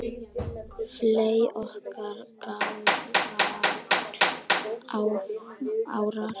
fley ok fagrar árar